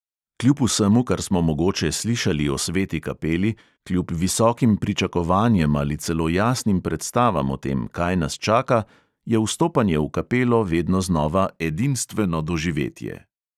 Kljub vsemu, kar smo mogoče slišali o sveti kapeli, kljub visokim pričakovanjem ali celo jasnim predstavam o tem, kaj nas čaka, je vstopanje v kapelo vedno znova edinstveno doživetje.